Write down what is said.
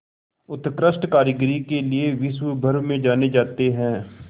उत्कृष्ट कारीगरी के लिये विश्वभर में जाने जाते हैं